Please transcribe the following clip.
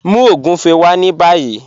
Mú ogúnfẹ̀ wá ní bàyì